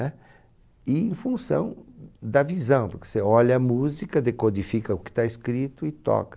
Né? E em função da visão, porque você olha a música, decodifica o que está escrito e toca.